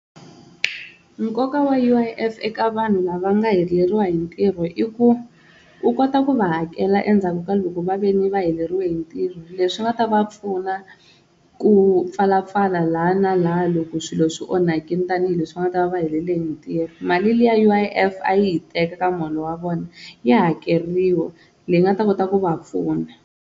Nkoka wa U_I_F eka vanhu lava nga heleriwa hi ntirho i ku u kota ku va hakela endzhaku ka loko va ve ni va heleriwe hi ntirho leswi nga ta va pfuna ku pfala pfala laha na laha loko swilo swi onhakile tanihileswi va nga ta va va helele hi ntirho, mali liya U_I_F a yi yi teka ka muholo wa vona ya hakeriwa leyi nga ta kota ku va pfuna.